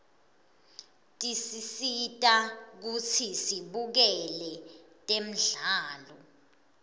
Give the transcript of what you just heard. tisisita kutsi sibukele temdlalo